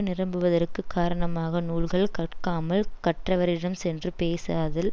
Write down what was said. நிரம்புவதற்குக் காரணமானக் நூல்கள் கற்காமல் கற்றவரிடம் சென்று பேசாதல்